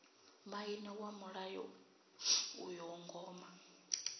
maine wa muḽa uyo ngoma